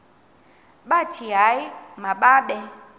bathi hayi mababe